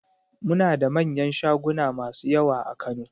Muna da manyan shaguna masu yawa a Kano